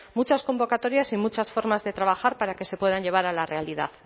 muchas convocatorias y muchas formas de trabajar para que se puedan llevar a la realidad